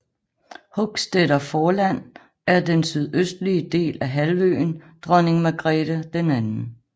Hochstetter Forland er den sydøstlige del af halvøen Dronning Margrete 2